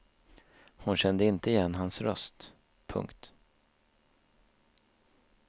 Hon kände inte igen hans röst. punkt